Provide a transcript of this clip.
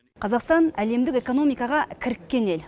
қазақстан әлемдік экономикаға кіріккен ел